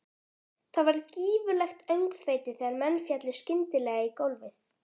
Það varð gífurlegt öngþveiti þegar menn féllu skyndilega í gólfið.